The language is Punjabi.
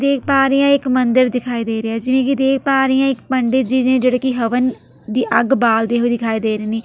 ਦੇਖ ਪਾ ਰਹੀ ਹਾਂ ਇੱਕ ਮੰਦਿਰ ਦਿਖਾਈ ਦੇ ਰਿਹਾ ਏ ਜਿਵੇਂ ਕਿ ਦੇਖ ਪਾ ਰਹੀ ਹਾਂ ਇੱਕ ਪੰਡਿਤ ਜੀ ਨੇ ਜਿਹੜੇ ਕਿ ਹਵਨ ਦੀ ਅੱਗ ਬਾਲਦੇ ਹੋਏ ਦਿਖਾਈ ਦੇ ਰਹੇ ਨੇ।